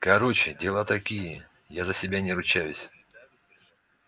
короче дела такие я за себя не ручаюсь